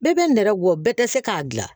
Bɛɛ bɛ nɛrɛ bɔ bɛɛ tɛ se k'a dilan